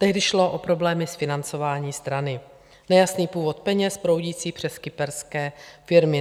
Tehdy šlo o problémy s financováním strany - nejasný původ peněz proudících přes kyperské firmy.